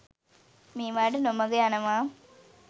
මේවාට නොමග යනවා.